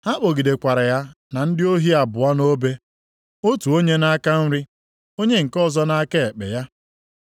Ha kpọgidekwara ya na ndị ohi abụọ nʼobe. Otu onye nʼaka nri, onye nke ọzọ nʼaka ekpe ya.